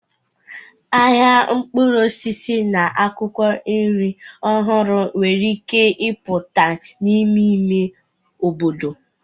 Ahịa mkpụrụ osisi na akwụkwọ nri ọhụrụ nwere ike ịpụta n'ime ime obodo.